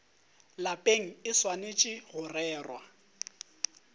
lapeng e swanetše go rerwa